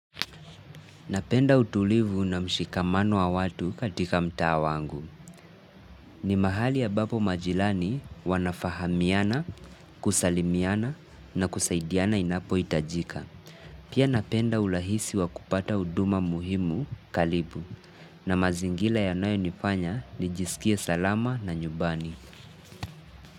Napenda utulivu na mshikamano wa watu katika mtaa wangu. Ni mahali ambapo majilani wanafahamiana, kusalimiana na kusaidiana inapohitajika. Pia napenda urahisi wa kupata huduma muhimu karibu na mazingira yanayonifanya nijisikie salama na nyumbani.